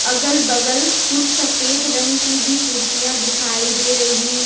अगल बगल कुछ सफेद रंग की भी कुर्सियां दिखाई दे रही है।